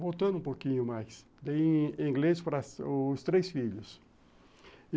Voltando um pouquinho mais, dei inglês para os três filhos.